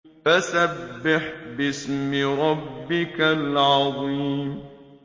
فَسَبِّحْ بِاسْمِ رَبِّكَ الْعَظِيمِ